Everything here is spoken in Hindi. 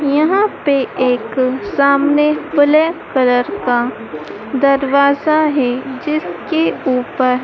यहां पे एक सामने ब्लैक कलर का दरवाजा है जिसके ऊपर--